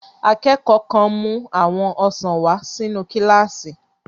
Akẹ́kọ̀ọ́ kan mú àwọn ọsàn wà sínu kílásì